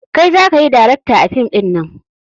Kai zakayi darakta a fim ɗinnan